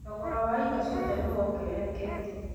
Thogora wa indo ciothe nĩ wongererekete